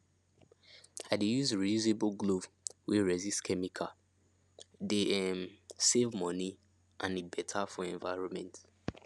i dey use reusable glove wey resist chemicale dey um save money and e better for environment